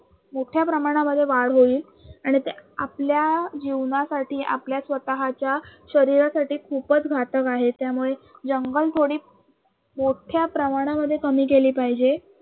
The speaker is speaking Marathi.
मोठ्या प्रमाणामध्ये वाढ होईल आणि ते आपल्या जीवनासाठी आपल्या स्वतःच्या शरीरासाठी खूपच घातक आहे त्यामुळे जंगल तोडीस मोठ्या प्रमाणामध्ये कमी केली पाहिजे.